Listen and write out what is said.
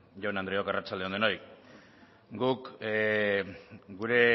jaun andreok arratsalde on denoi guk gure